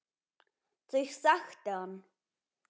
Þau þekkti hann.